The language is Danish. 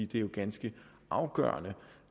det er ganske afgørende